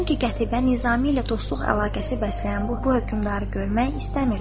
Çünki Qətibə Nizami ilə dostluq əlaqəsi bəsləyən bu hökmdarı görmək istəmirdi.